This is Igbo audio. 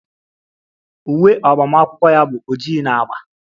Uwe agbamakwụkwọ ya bụ oji na agba